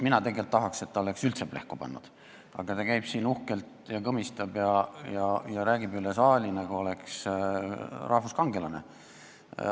Mina tegelikult tahaks, et ta oleks üldse plehku pannud, aga ta käib siin uhkelt ringi, kõmistab ja räägib üle saali, nagu oleks rahvuskangelane.